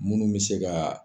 Munnu be se ka